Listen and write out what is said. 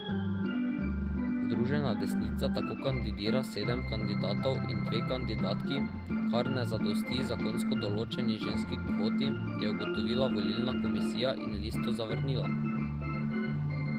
Združena desnica tako kandidira sedem kandidatov in dve kandidatki, kar ne zadosti zakonsko določeni ženski kvoti, je ugotovila volilna komisija in listo zavrnila.